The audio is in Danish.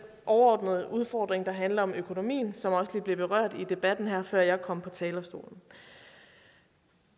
overordnede udfordring der handler om økonomien som også blev berørt i debatten her før jeg kom på talerstolen